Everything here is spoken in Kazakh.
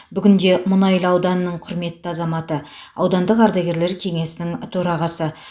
бүгінде мұнайлы ауданының құрметті азаматы аудандық ардагерлер кеңесінің төрағасы